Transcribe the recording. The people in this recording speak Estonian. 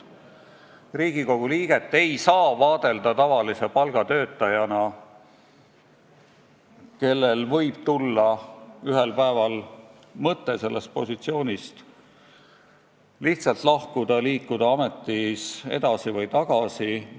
Riigikogu liiget ei saa vaadelda tavalise palgatöötajana, kellel võib tulla ühel päeval mõte sellest ametist lihtsalt lahkuda ja minna tagasi vanale tööle või edasi uuele kohale.